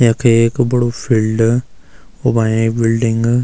यख एक बडू फिल्ड उमा एक बिलडिंग ।